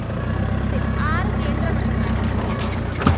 ഇതില്‍ ആറു കേന്ദ്രമന്ത്രിമാരും വിജയിച്ചു